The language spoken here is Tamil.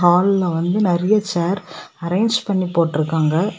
ஹால்ல வந்து நெறைய சேர் அரேன்ஜ் பண்ணி போட்டுருக்காங்க.